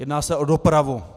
Jedná se o dopravu.